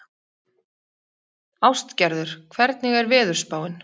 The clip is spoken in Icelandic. Ástgerður, hvernig er veðurspáin?